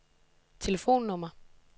telefonnummer